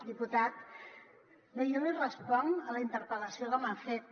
diputat bé jo li responc a la interpel·lació que m’ha fet